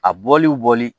A bɔliw bɔli